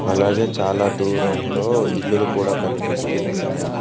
అలాగే చాలా దూరంలో ఇల్లులు కూడా కనిపిస్తూ ఉన్నాయి